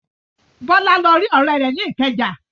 Bọ́lá lọ rí ọ̀rẹ́ rẹ̀ ní Ìkẹjà.